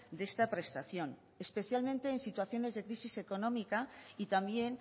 de esta prestación especialmente en situaciones de crisis económica y también